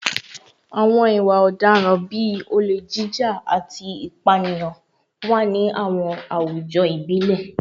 Àwọn ìwà ọ̀daràn bíi olè jíjà, olè jíjà, àti ìpànìyàn wà ní àwọn àwùjọ ìbílẹ̀